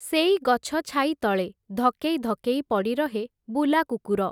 ସେଇ ଗଛ ଛାଇତଳେ ଧକେଇ ଧକେଇ ପଡ଼ିରହେ ବୁଲାକୁକୁର ।